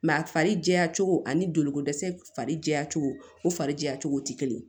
a fari jɛ cogo ani joliko dɛsɛ fari jɛya cogo o farijɛya cogo tɛ kelen ye